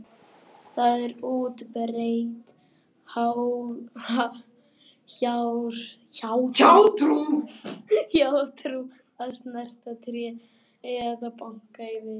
Það er útbreidd hjátrú að snerta tré eða banka í við.